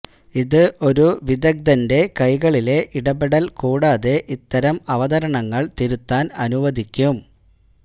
ഇത് ഒരു വിദഗ്ധന്റെ കൈകളിലെ ഇടപെടൽ കൂടാതെ ഇത്തരം അവതരണങ്ങൾ തിരുത്താൻ അനുവദിക്കും